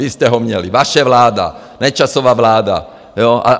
Vy jste ho měli, vaše vláda, Nečasova vláda, jo.